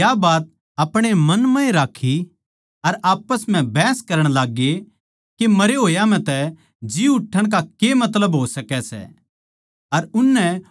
चेल्यां नै या बात आपणे मन म्ह ए राक्खी आप्पस म्ह बहस करण लाग्गे मरे होया म्ह जी उठण का के मतलब हो सकै सै